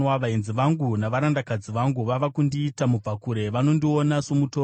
Vaenzi vangu navarandakadzi vangu vava kundiita mubvakure; vanondiona somutorwa.